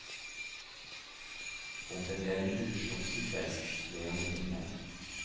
Om det är en ursnofsig fest klär jag ner mig.